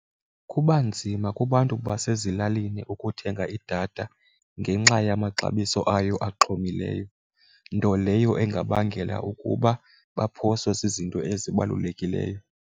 Kuba nzima kubantu basezilalini ukuthenga idatha ngenxa yamaxabiso ayo axhomileyo, nto leyo ingabangela ukuba baphoswe zizinto ezibalulekileyo.